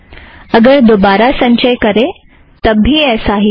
अगर दोबारा संचय करें तब भी ऐसा ही है